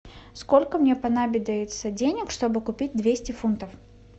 сколько мне понадобиться денег чтобы купить двести фунтов